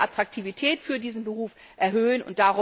Darum müssen wir die Attraktivität dieses Berufs erhöhen.